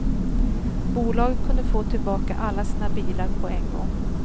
Bolaget kunde få tillbaka alla sina bilar på en gång.